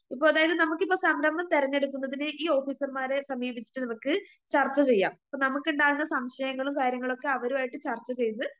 ഇപ്പൊ അതായത് നമുക്കിപ്പോ സംരംഭം തെരഞ്ഞെടുക്കുന്നതിന് ഈ ഓഫീസർമാരെ സമീപിച്ചിട്ട് നമുക്ക് ചർച്ച ചെയ്യാം അപ്പ നമുക്കിണ്ടാകുന്ന സംശയങ്ങളും കാര്യങ്ങളും ഒക്കെ അവരുമായിട്ട് ചർച്ച ചെയ്ത്